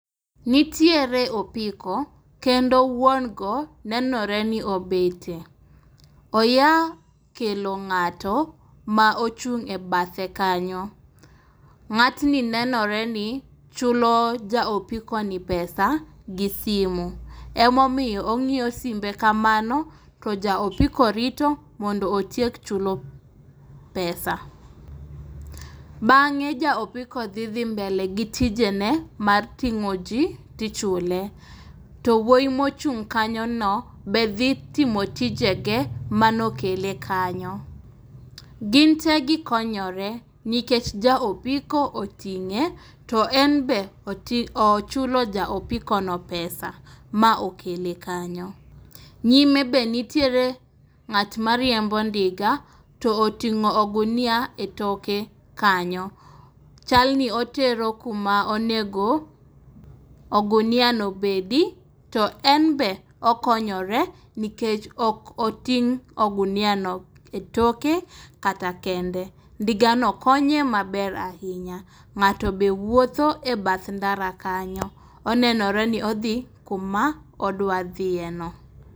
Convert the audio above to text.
Nitiere apiko kendo wuon go nenore ni obetie. Oa kelo ng'ato ma ochung' e bathe kanyo. Ng'atni neore ni chulo ja opikono pesa gi simu emomiyo ong'iyo simbe kamano to ja opiko rito mondo otiek chulo pesa. Bang'e ja opiko dhi mbele gi tijene mar ting'o ji to ichule. To wuoyi mochung' kanyono be dhi timo tije ge manokele kanyo. Gin te gikonyore nikech ja opiko oting'e to en be oti ochulo ja pesa ma okele kanyo. Nyime be nitiere ng'at mariembo ndiga to oting'o ogunia e toke kanyo. Chal ni otero kuma onego oguniano obedi to en be okonyore nikech ok oting' ogunia etoke kata kende. Ndigano konye maber ahinya. Ng'ato be wuotho e bath ndara kanyo, onenore ni odhi kuma odwa dhiye no.